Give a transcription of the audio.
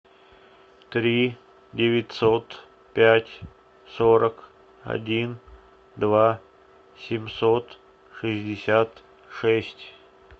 три девятьсот пять сорок один два семьсот шестьдесят шесть